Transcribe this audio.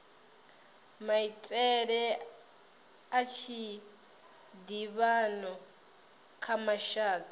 maitele a tshiḓivhano kha mashaka